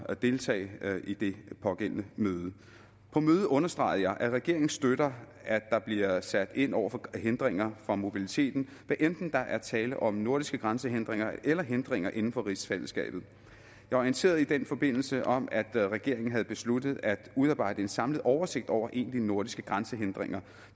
at deltage i det pågældende møde på mødet understregede jeg at regeringen støtter at der bliver sat ind over for hindringer for mobiliteten hvad enten der er tale om nordiske grænsehindringer eller hindringer inden for rigsfællesskabet jeg orienterede i den forbindelse om at regeringen havde besluttet at udarbejde en samlet oversigt over egentlige nordiske grænsehindringer